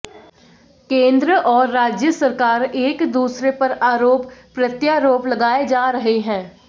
केंद्र और राज्य सरकार एक दूसरेे पर आरोप प्रत्यारोप लगाए जा रहे हैं